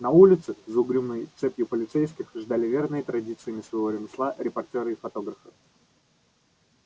на улице за угрюмой цепью полицейских ждали верные традициям своего ремесла репортёры и фотографы